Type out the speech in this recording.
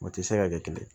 O tɛ se ka kɛ kelen